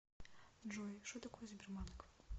джой шо такое сбербанк